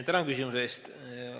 Tänan küsimuse eest!